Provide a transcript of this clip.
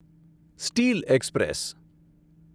steel express